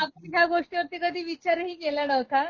आणि आपण ह्या गोष्टीवरती कधी विचारही केला नव्हता